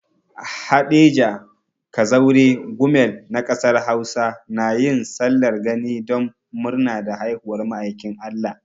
Haɗeja, Kazaure, Gumel na kasar Hausa na yin sallar gani don murna da haihuwar ma'aikin Allah.